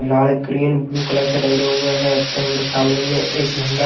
लाल green blue colour से रंगे हुए है यहां पे हम लोग सामने मे एक झंडा--